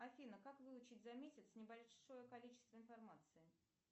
афина как выучить за месяц небольшое количество информации